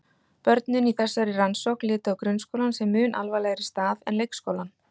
Börnin í þessari rannsókn litu á grunnskólann sem mun alvarlegri stað en leikskólann.